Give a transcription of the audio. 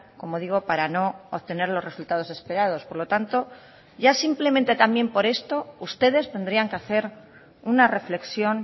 como digo para no obtener los resultados esperados por lo tanto ya simplemente también por esto ustedes tendrían que hacer una reflexión